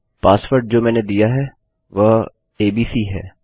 password जो मैंने दिया है वह एबीसी है